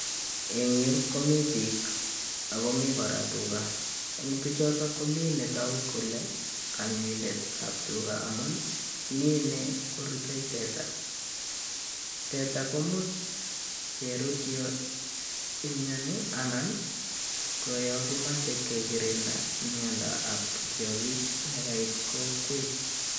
Eng yu komi piik akomii kora tuga eng pichoto ko mi netoku kole konyoindet ab tuga amun Mii ine korutei teta, teta komuch kerut yo imyoni anan ko yo kimachei kekirinda myondo ab kiyakik nekait kokwet